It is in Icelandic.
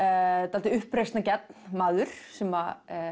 dálítið uppreisnargjarn maður sem